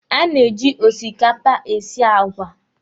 A na-eji osikapa esi àgwà.